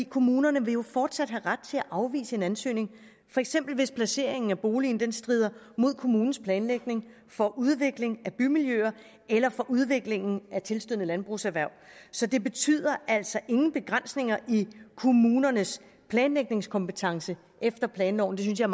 kommunerne vil jo fortsat have ret til at afvise en ansøgning for eksempel hvis placeringen af boligen strider imod kommunens planlægning for udvikling af bymiljøer eller for udvikling af tilstødende landbrugserhverv så det betyder altså ingen begrænsninger i kommunernes planlægningskompetence efter planloven det synes jeg